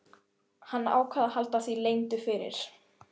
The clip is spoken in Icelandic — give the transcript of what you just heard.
Hann ákvað að halda því leyndu fyrir